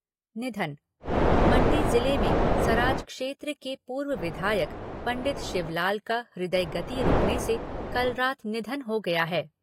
निधन मण्डी ज़िले में सराज क्षेत्र के पूर्व विधायक पंडित शिवलाल का हृदय गति रूकने से कल रात निधन हो गया है।